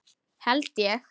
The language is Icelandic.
Held ég!